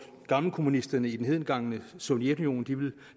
gammelkommunisterne i det hedengangne sovjetunionen ville